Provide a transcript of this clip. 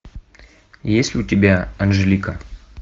есть ли у тебя анжелика